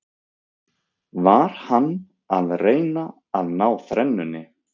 Var hann að reyna að ná þrennunni?